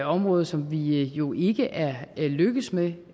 område som vi jo ikke er lykkedes med